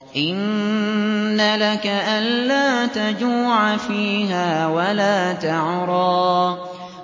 إِنَّ لَكَ أَلَّا تَجُوعَ فِيهَا وَلَا تَعْرَىٰ